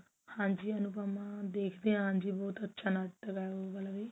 ਹਾਂਜੀ ਅਨੁਪਮਾ ਦੇਖਦੇ ਹਾਂ ਹਾਂਜੀ but ਅੱਛਾ ਨਾਟਕ ਹੈ ਉਹ ਵਾਲਾ ਵੀ